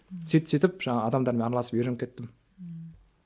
сөйтіп сөйтіп жаңағы адамдармен араласып үйреніп кеттім ммм